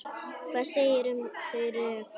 Hvað segirðu um þau rök?